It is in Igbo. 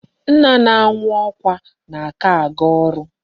Nna na-anwụ ọkwa n'aka aga ọrụ.